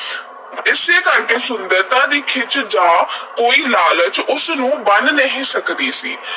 ਇਸੇ ਕਰਕੇ ਸੁੰਦਰਤਾ ਦੀ ਖਿੱਚ ਜਾਂ ਕੋਈ ਲਾਲਚ ਉਸ ਨੂੰ ਬੰਨ੍ਹ ਨਹੀਂ ਸਕਦੀ ਸੀ।